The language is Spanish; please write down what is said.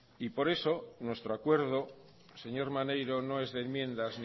y mucho por eso nuestro acuerdo señor maneiro no es de enmiendas